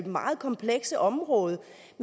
meget komplekse område